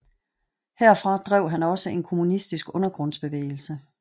Herfra drev han også en kommunistisk undergrundsbevægelse